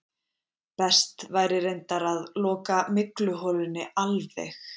Best væri reyndar að loka mygluholunni alveg.